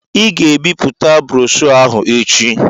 Ị ga-ebipụta broshoo ahụ echi!